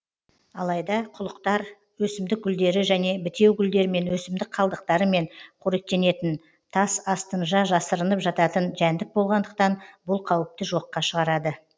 алайда құлықтар өсімдік гүлдері және бітеугүлдермен өсімдік қалдықтарымен қоректенетін тас астынжа жасырынып жататын жәндік болғандықтан бұл қауіпті жоққа шығарады